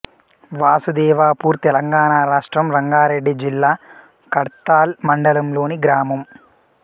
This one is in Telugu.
వాసుదేవపూర్ తెలంగాణ రాష్ట్రం రంగారెడ్డి జిల్లా కడ్తాల్ మండలంలోని గ్రామం